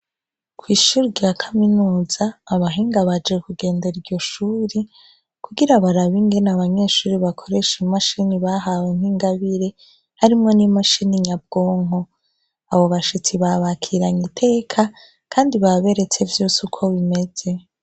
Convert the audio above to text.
kw'ishurwe rya kaminuza abahinga baje kugendera iryo shure, kugira barabingene abanyeshuri bakoresha imashini bahawe nk'ingabire harimo n'imashini nyabwonko. Abo bashitsi babakiranye iteka kandi baberetse vyose uko bimeze.